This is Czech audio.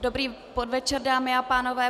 Dobrý podvečer, dámy a pánové.